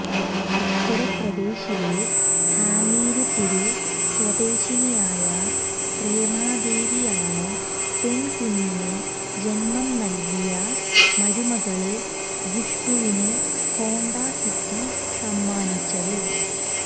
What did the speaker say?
ഉത്തര്പ്രദേശിലെ ഹാമിര്പുര് സ്വദേശിനിയായ പ്രേമാദേവിയാണ് പെണ്കുഞ്ഞിനു ജന്മം നല്കിയ മരുമകള് ഖുഷ്ബുവിന് ഹോണ്ടാ സിറ്റി സമ്മാനിച്ചത്